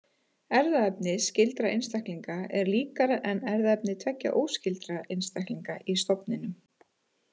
Erfðaefni skyldra einstaklinga er líkara en erfðaefni tveggja óskyldra einstaklinga í stofninum.